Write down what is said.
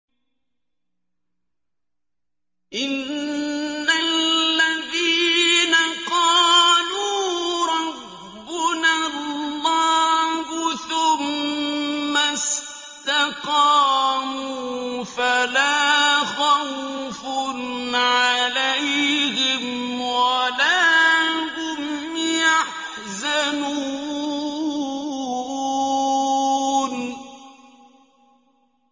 إِنَّ الَّذِينَ قَالُوا رَبُّنَا اللَّهُ ثُمَّ اسْتَقَامُوا فَلَا خَوْفٌ عَلَيْهِمْ وَلَا هُمْ يَحْزَنُونَ